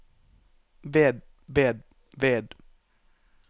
ved ved ved